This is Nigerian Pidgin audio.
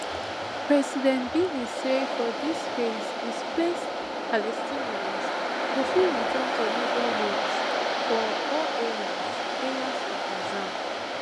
president biden say for dis phase displaced palestinians go fit return to neighbourhoods for all areas areas of gaza